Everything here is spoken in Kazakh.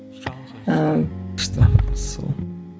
ііі күшті сол